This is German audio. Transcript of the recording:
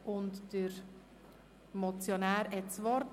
Der Motionär hat das Wort.